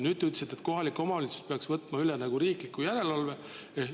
Nüüd te ütlesite, et kohalikud omavalitsused peaksid võtma üle riikliku järelevalve.